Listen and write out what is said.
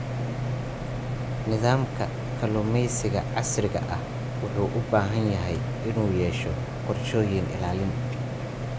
Nidaamka kalluumeysiga casriga ah wuxuu u baahan yahay inuu yeesho qorshooyin ilaalin.